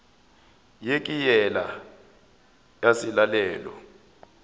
ye ke yela ya selalelo